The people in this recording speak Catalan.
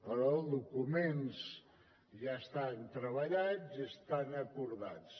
però els documents ja estan treballats i ja estan acordats